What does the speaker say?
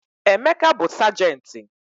Emeka bụ sajenti.